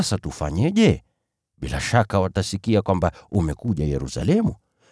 Sasa tufanyeje? Bila shaka watasikia kwamba umekuja Yerusalemu.